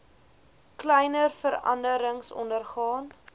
kleiner veranderings ondergaan